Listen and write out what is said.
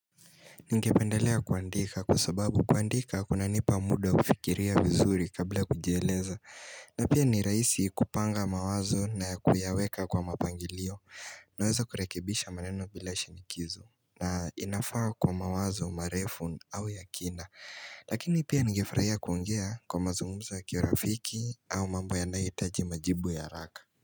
Ningependelea kuandika kwa sababu kuandika kuna nipa muda wa kufikiria vizuri kabla ya kujieleza na pia ni raisi kupanga mawazo na kuyaweka kwa mapangilio Naweza kurekebisha maneno bila shinikizo na inafaa kwa mawazo marefu au ya kina Lakini pia ningefurahia kuongea kwa mazungumzo ya kirafiki au mambo yanayoitaji majibu ya haraka.